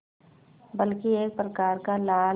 बल्कि एक प्रकार का लाल